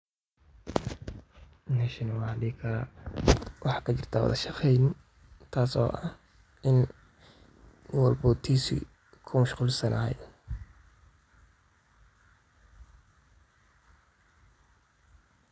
Sharciga waa mashruuc sharci oo muhiim ah oo laga soo jeediyey magaalada Nairobi ee dalka Kenya, kaas oo ujeedadiisu tahay in lagu xoojiyo maamulka iyo horumarinta magaalada iyadoo la tixgelinayo baahiyaha dadka deegaanka, horumarinta adeegyada bulshada, iyo ilaalinta deegaanka.